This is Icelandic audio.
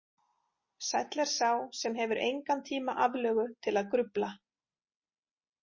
Sæll er sá sem hefur engan tíma aflögu til að grufla.